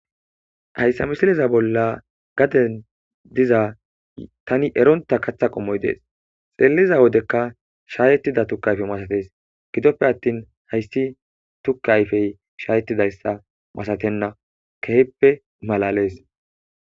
Haysa misileza bola diza gaden diza Tani eronta katha qomoy des xeliza wodeka shayetida tuke ayfe masates gidope atin haysi tuke ayfey shayetidaysa masatene shin kehippe malales